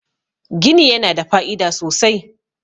gini yana da fa'ida sosai